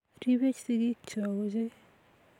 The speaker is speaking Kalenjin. Ripech sikik Cho ochei